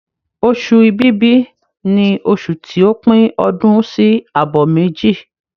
Oṣù Ibìbí ni oṣù ti o pín ọdún sí àbọ̀ méjì.